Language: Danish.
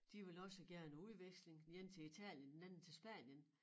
De ville også gerne på udveksling den ene til Italien den anden til Spanien